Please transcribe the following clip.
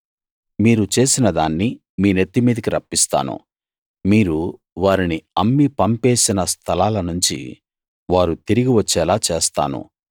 మీరు చేసిన దాన్ని మీ నెత్తి మీదికి రప్పిస్తాను మీరు వారిని అమ్మి పంపేసిన స్థలాలనుంచి వారు తిరిగి వచ్చేలా చేస్తాను